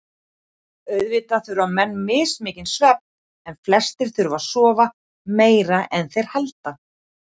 Auðvitað þurfa menn mismikinn svefn en flestir þurfa að sofa meira en þeir halda.